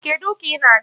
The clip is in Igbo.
Kedụ ụka ị na-aga?